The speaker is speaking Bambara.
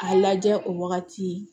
A lajɛ o wagati